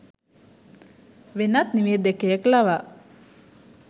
වෙනත් නිවේදකයෙක් ලවා